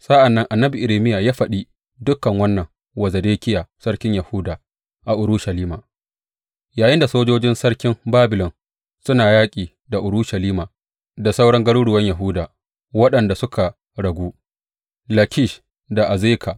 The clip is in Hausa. Sa’an nan annabi Irmiya ya faɗi dukan wannan wa Zedekiya sarkin Yahuda, a Urushalima, yayinda sojojin sarkin Babilon suna yaƙi da Urushalima da sauran garuruwan Yahuda waɗanda suka ragu, Lakish da Azeka.